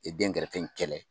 I dɛngɛrɛfɛ in kɛlɛ.